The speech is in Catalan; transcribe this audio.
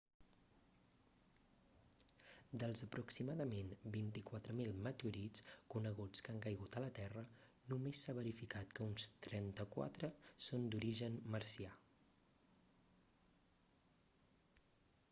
dels aproximadament 24.000 meteorits coneguts que han caigut a la terra només s'ha verificat que uns 34 són d'origen marcià